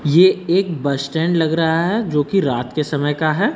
ये एक bus stand लग रहा है जो की रात के समय का है।